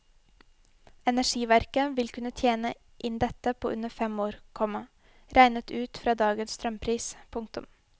Energiverket vil kunne tjene inn dette på under fem år, komma regnet ut fra dagens strømpris. punktum